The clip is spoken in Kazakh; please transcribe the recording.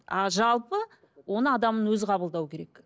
а жалпы оны адамның өзі қабылдау керек